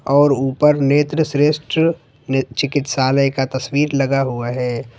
और ऊपर नेत्र श्रेष्ठ चिकित्सालय का तस्वीर लगा हुआ है।